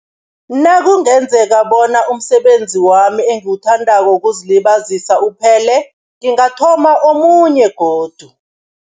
Nakungenzeka bona umsebenzi wami engiwuthandako wokuzilibazisa uphele, ngingathoma omunye godu.